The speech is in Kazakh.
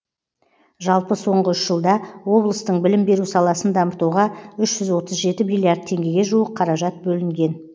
жалпы соңғы үш жылда облыстың білім беру саласын дамытуға үш жүз отыз жеті миллиард теңгеге жуық қаражат бөлінген